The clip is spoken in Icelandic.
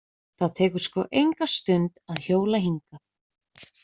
Það tekur sko enga stund að hjóla hingað.